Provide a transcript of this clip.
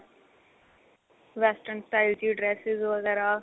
western style ਦੀ dresses ਵਗੈਰਾ